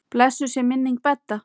Blessuð sé minning Bedda.